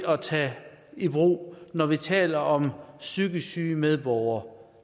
at tage i brug når vi taler om psykisk syge medborgere